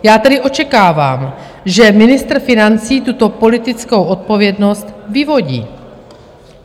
Já tedy očekávám, že ministr financí tuto politickou odpovědnost vyvodí.